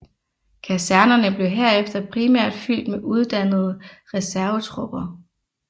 Kasernerne blev herefter primært fyldt med uddannede reservetropper